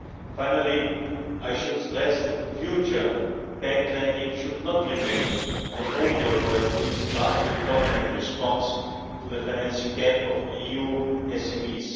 Finally I should stress that, in future, bank lending should not remain the only or at least the largely dominant response to the financing gap of EU SMEs.